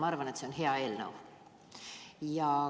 Ma arvan, et see on hea eelnõu.